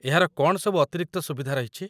ଏହାର କ'ଣ ସବୁ ଅତିରିକ୍ତ ସୁବିଧା ରହିଛି ?